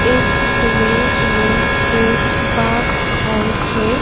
इस इमेज में एक फार्म हाउस है।